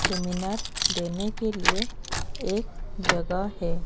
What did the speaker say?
Seminar देने के लिए एक जगह है।